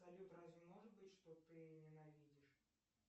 салют разве может быть что ты ненавидишь